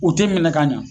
U ti minɛ ka ɲa